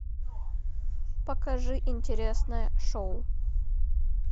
покажи интересное шоу